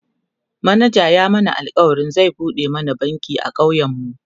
manajan ya mana alkawalin zai buɗe mana banki a ƙauyen mu